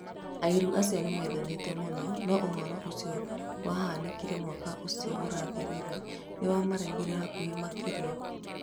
Airĩru acio nĩmendanĩte mũno, no ũhoro ũcio wahanĩkire mwaka ũcio ũrathĩrĩre nĩ wamarehire hakuhĩ makĩria.